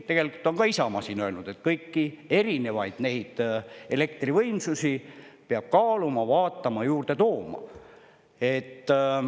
Tegelikult on ka Isamaa siin öelnud, et kõiki erinevaid neid elektrivõimsusi peab kaaluma, vaatama, juurde tooma.